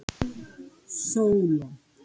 Sólon